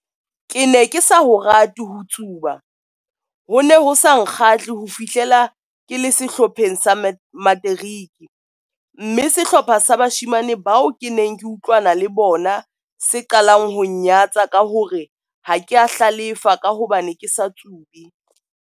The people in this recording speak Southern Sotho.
Ke ne ke sa ho rate ho tsuba - ho ne ho sa nkgahle ho fihlela ke le sehlopheng sa materiki, mme sehlopha sa bashemane bao ke neng ke utlwana le bona se qalang ho nnyatsa ka ho re ha ke a hlalefa ka hobane ke sa tsube.